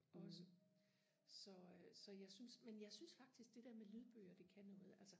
også så så jeg synes men jeg synes faktisk det der med lydbøger det kan noget altså